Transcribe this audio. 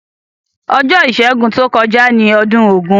Ojó ìsẹ́gun to kojá ni odún ògún